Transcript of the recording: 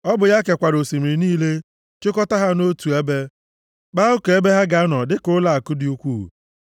Ọ bụ ya kekwara osimiri niile chịkọta ha nʼotu ebe, kpaa oke ebe ha ga-anọ dịka ụlọakụ dị ukwuu.